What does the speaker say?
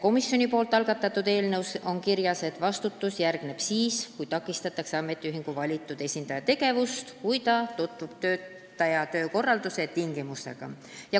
Komisjoni algatatud eelnõus on kirjas, et vastutus järgneb siis, kui takistatakse ametiühingu valitud esindaja tegevust, kui ta tutvub töötaja töökorralduse tingimustega.